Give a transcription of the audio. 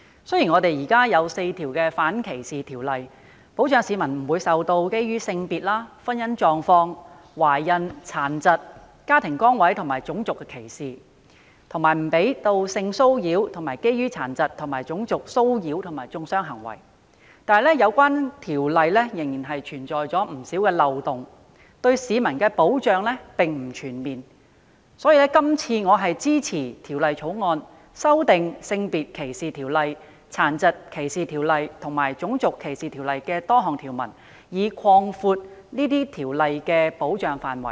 雖然現時有4項反歧視條例，保障市民不會受到基於性別、婚姻狀況、懷孕、殘疾、家庭崗位和種族的歧視，以及不讓性騷擾、涉及殘疾及種族騷擾和中傷的行為發生。然而，有關條例仍然存在漏洞，對市民的保障並不全面，所以，我支持《2018年歧視法例條例草案》，修訂《性別歧視條例》、《殘疾歧視條例》及《種族歧視條例》的多項條文，以擴闊這些條例的保障範圍。